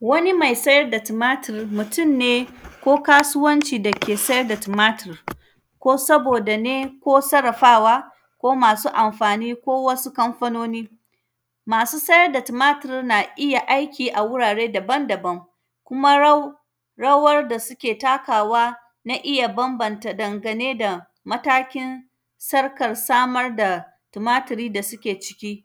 Wani mai sayar da tumatir, mutun ne ko kasuwanci dake sayar da tumatir, ko saboda ne, ko sarrafawa ko masu amfani ko wasu kamfanoni. Masu sayar da tumatir na iya aiki a wurare daban-daban, kuma rau; rawar da suke takawa na iya bambanta dangane da matakin Sarkar samar da tumatiri da sike ciki.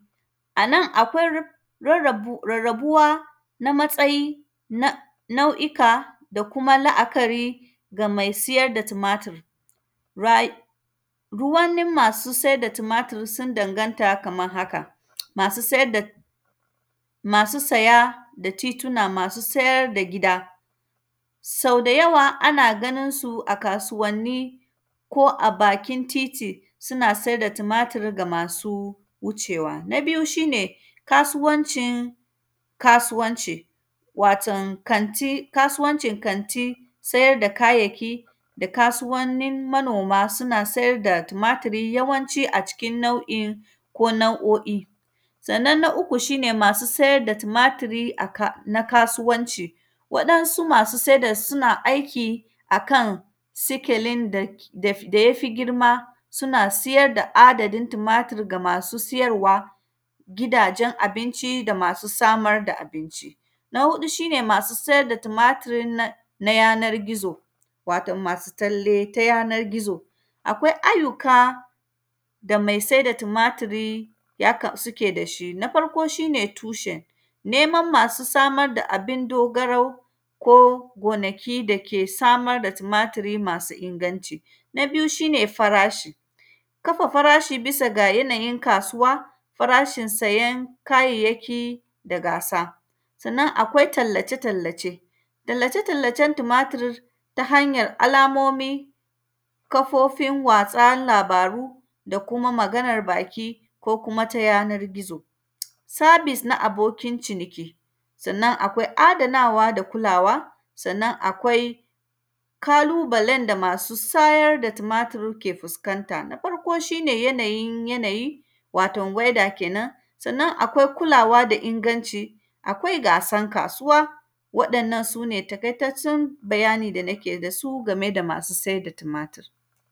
A nan, akwar; rarrabu, rarrabuwa na matsayi na nau’ika da kuma la’akari ga mai siyar da tumatir. Raiyi; du wani masu sai da tumatir, sun danganta kamar haka. Masu sayad da, masu saya da tiyuna, masu sayar da gida, sau da yawa ana ganin su a kasuwanni ko a bakin titi, suna se da tumatir ga masu wucewa. Na biyu, shi ne kasuwancin kasuwanci, waton kanti, kasuwanci kanti, sayar da kayayyaki da kasuwannin manoma, suna sayar da tumatiri yawanci a cikin nau’in ko nau’o’i. Sannan, na uku shi ne masu sayar da tumatiri a ka; na kasuwanci. Waɗansu masu seda, suna aiki a kan sikelin da, daf; da ya fi girma, suna siyad da adadin tumatir ga amsu siyarwa, gidajen abinci da masu samar da abinci. Na huɗu, shi ne masu sayar da tumatir na, na yanar gizo, waton masu talle ta yanar gizo. Akwai ayyuka ga mai se da tumatiri yaka; sike da shi. Na farko, shi ne tushen, neman masu samar da abin dogarau ko gonaki da ke samar da tumatiri masu inganci. Na biyu, shi ne farashi, kafa farashi bisa ga yanayin kasuwa, farashin sayan kayayyaki da gasa. Sannan, akwai tallace-tallace, tallace-tallacen tumatir ta hanyar alamomi, kafofin watsa labaru da kuma maganar baki ko kuma ta yanar gizo. Sabis na abokin ciniki, sannan, akwai adanawa da kulawa. Sannan, akwai kalubalen da masu sayar da tumatir ke fuskanta. Na farko, shi ne yanayin yanayi, waton “weather” kenan, sannan akwai kulawa da inganci, akwai gasan kasuwa. Waɗannan, su ne takaitaccen bayani da nake da su, game da masu sai da tumatir.